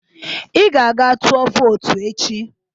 Ị ga-aga tụọ vootu echi